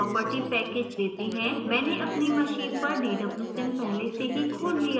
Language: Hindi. मैंने अपनी machine पर dwsim पहले से ही खोल लिया है